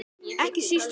Ekki síst hún.